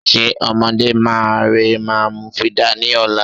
Ṣe ọmọdé máa rẹ máa mu fídà ní ọ̀la?